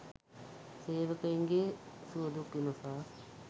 සේවකයින්ගේ සුවදුක් විමසා